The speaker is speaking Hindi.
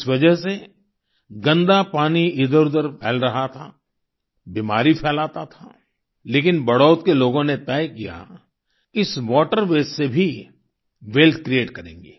इस वजह से गंदा पानी इधरउधर फैल रहा था बीमारी फैलाता था लेकिन बड़ौत के लोगों ने तय किया कि इस वाटर वास्ते से भी वेल्थ क्रिएट करेंगे